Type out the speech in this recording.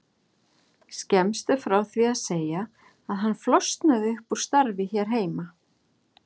Skemmst er frá því að segja að hann flosnaði upp úr starfi hér heima.